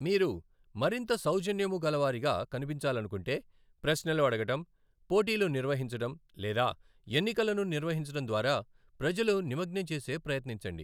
మీరు మరింత సౌజన్యముగలవారిగా కనిపించాలనుకుంటే ప్రశ్నలు అడగడం, పోటీలు నిర్వహించడం లేదా ఎన్నికలను నిర్వహించడం ద్వారా ప్రజలు నిమగ్నం చేసే ప్రయత్నించండి.